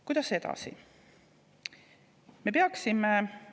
Kuidas edasi?